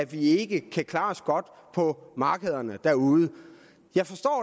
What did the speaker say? vi ikke kan klare os godt på markederne derude jeg forstår